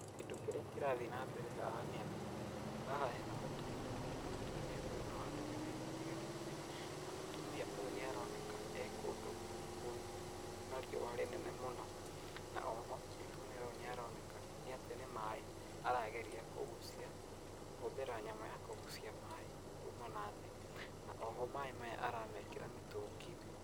Kĩndũ kĩrĩa kĩrathiĩ na mbere haha nĩ atĩ, haha hena mũtumia na mũtumia ũyũ nĩ wa ndũrĩrĩ ĩtiganĩte, na mũtumia ũyũ nĩaroneka e kũndũ kwĩna riũwa rĩnene mũno. Na oho mũtumia ũyũ nĩaroneka nĩ atĩ nĩ maaĩ arageria kũgucia, kũhũthĩra nyamũ ya kũgucia maaĩ kuma na thĩ na oho maaĩ maya aramekĩra mĩtũnginĩ.